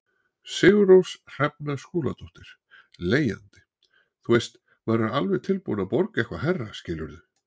Sigurrós Hrefna Skúladóttir, leigjandi: Þú veist, maður er alveg tilbúin að borga eitthvað hærra skilurðu?